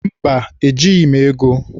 Mba, ejighị m ego.